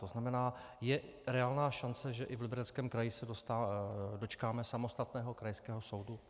To znamená, je reálná šance, že i v Libereckém kraji se dočkáme samostatného krajského soudu?